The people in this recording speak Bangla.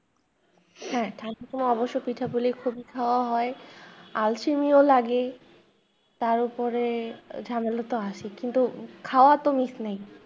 হ্যাঁ তা কিন্তু অবশ্য পিঠে পুলি খুবই খাওয়া হয় আলসেমিও লাগে তার উপরে ঝামেলা তো আছেই কিন্তু খাওয়াতো miss নেই।